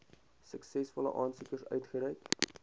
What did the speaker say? suksesvolle aansoekers uitgereik